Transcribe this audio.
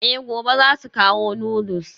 Eh gobe zasu kawo noodles.